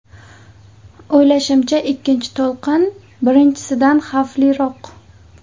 O‘ylashimcha, ikkinchi to‘lqin birinchisidan xavfliroq.